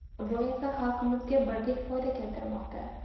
Bu esa xalqlarimizga birdek foyda keltirmoqda.